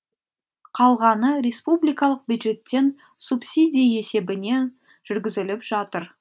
қалғаны республикалық бюджеттен субсидия есебімен жүргізіліп жатыр